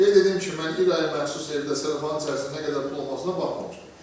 Qeyd edirəm ki, mən İraya məxsus evdə sellafanın içində nə qədər pul olmasına baxmamışdım.